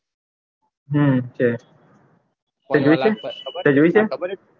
હમ છે તે જોઈ છે તે જોઈ છે